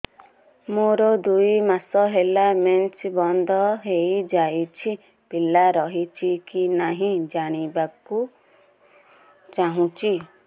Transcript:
ମୋର ଦୁଇ ମାସ ହେଲା ମେନ୍ସ ବନ୍ଦ ହେଇ ଯାଇଛି ପିଲା ରହିଛି କି ନାହିଁ ଜାଣିବା କୁ ଚାହୁଁଛି